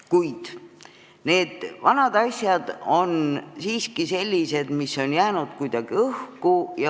Kuid need vanad asjad on siiski sellised, mis on jäänud kuidagi õhku.